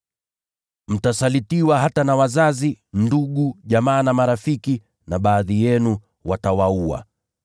Mtasalitiwa hata na wazazi, ndugu, jamaa na marafiki, na baadhi yenu watawaua.